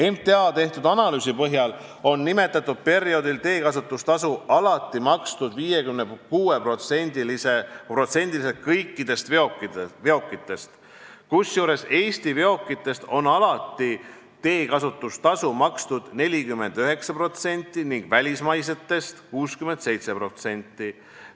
MTA tehtud analüüsi põhjal oli nimetatud perioodil teekasutustasu alati makstud 56%-l kõikidest veokitest, kusjuures Eesti veokitest 49%-l ning välismaistest veokitest 67%-l.